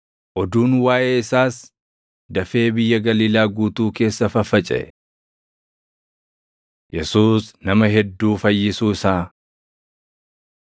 Oduun waaʼee isaas dafee biyya Galiilaa guutuu keessa faffacaʼe. Yesuus Nama Hedduu Fayyisuu Isaa 1:29‑31 kwf – Mat 8:14,15; Luq 4:38,39 1:32‑34 kwf – Mat 8:16,17; Luq 4:40,41